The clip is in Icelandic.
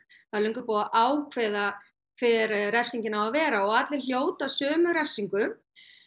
það er löngu búið að ákveða hver refsingin á að vera og allir hljóta sömu refsingu